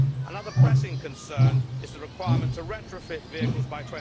Another pressing concern is the requirement to retrofit vehicles by